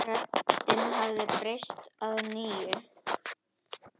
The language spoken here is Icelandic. Röddin hafði breyst að nýju.